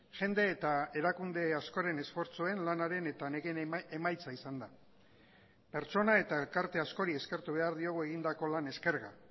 jende eta erakunde askoren esfortzuen lanaren eta nekeen emaitza izan da pertsona eta elkarte askori eskertu behar diogu egindako lan eskerga